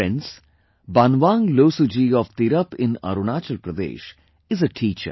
Friends, Banwang Losu ji of Tirap in Arunachal Pradesh is a teacher